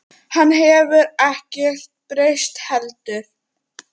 Hann hefur ekkert breyst heldur.